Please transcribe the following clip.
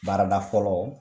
Baarada fɔlɔ